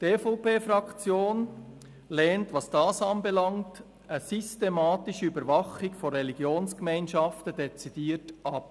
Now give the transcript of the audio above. Die EVP-Fraktion lehnt eine systematische Beobachtung von Religionsgemeinschaften dezidiert ab.